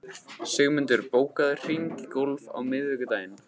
Sigmundur, bókaðu hring í golf á miðvikudaginn.